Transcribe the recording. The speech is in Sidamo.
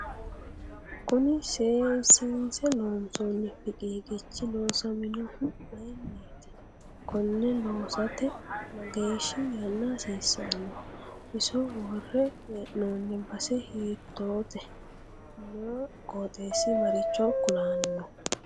Kuni seesiinse loonsooni fiqiiqichi loosaminohu mayiiniiti konne loosate mageeshi yaana hasiisanno iso worre heenooni base hiitoote noo qoxeesi maricho kulanno